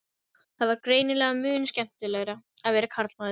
Það var greinilega mun skemmtilegra að vera karlmaður.